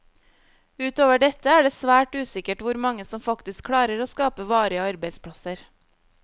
Ut over dette er det svært usikkert hvor mange som faktisk klarer å skape varige arbeidsplasser.